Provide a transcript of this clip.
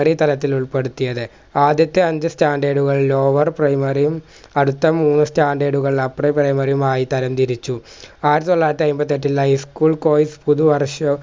ഉപരിതലത്തിൽ ഉൾപ്പെടുത്തിയത് ആദ്യത്തെ അഞ്ച് standard കൾ lower primary യും അടുത്ത മൂന്ന് standard കൾ upper primary യും ആയി തരം തിരിച്ചു ആയിര്തൊള്ളായിരത്തി അയിമ്പത്തെട്ടിൽ high school course പുതുവർഷ